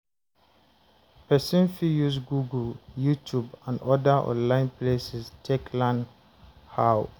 Person fit use google, youtube and oda online places take learn how